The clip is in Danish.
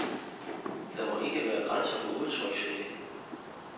Der må ikke være grænser for udtryksfriheden.